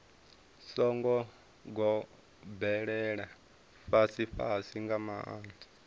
songo gobelela fhasifhasi nga maanḓa